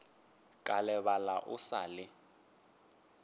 ka lebala o sa le